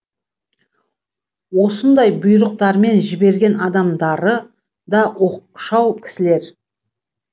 осындай бұйрықтармен жіберген адамдары да оқшау кісілер